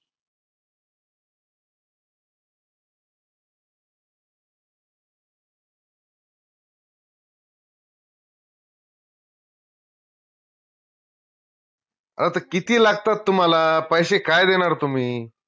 अ त किती लागतात तुम्हाला पैशे काय देनार तुम्ही?